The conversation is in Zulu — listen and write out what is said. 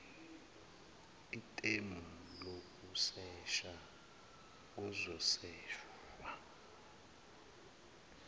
ithemu lokusesha kuzoseshwa